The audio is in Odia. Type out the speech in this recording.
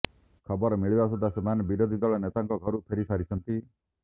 ଖବର ମିଳିବା ସୁଦ୍ଧା ସେମାନେ ବିରୋଧୀ ଦଳ ନେତାଙ୍କ ଘରୁ ଫେରି ସାରିଛନ୍ତି